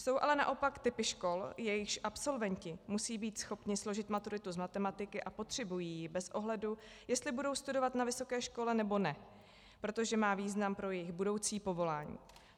Jsou ale naopak typy škol, jejichž absolventi musí být schopni složit maturitu z matematiky a potřebují ji bez ohledu, jestli budou studovat na vysoké škole, nebo ne, protože má význam pro jejich budoucí povolání.